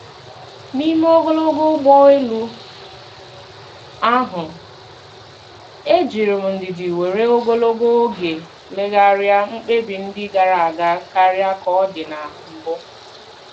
N'ime ogologo ụgbọ elu ahụ, ejiri m ndidi were ogologo oge legharịa mkpebi ndị gara aga karịa ka ọ dị na mbụ.